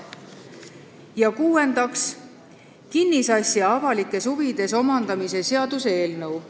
Ja kuuendaks, kinnisasja avalikes huvides omandamise seaduse eelnõu.